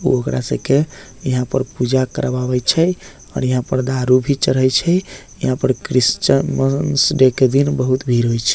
उ ओकरा सब के यहाँ पर पूजा करवावे छे और यहाँ पर दारू भी चढ़य छै यहाँ पर क्रिस्चियन उम्म मांस डे के दिन बहुत ही भीड़ होय छै।